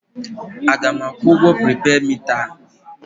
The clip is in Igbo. A ga m akwụ ụgwọ pripeed mita a?